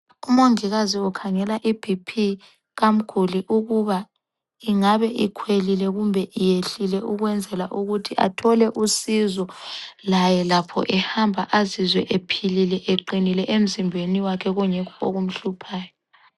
Umongikazi ukhangela iBP kamguli ukuba ingabe ikhwelile kumbe iyehlile ukwenzela ukuthi athole usizo laye lakho ehamba azizwe ephilile ,eqinile kungekho okumhluphayo.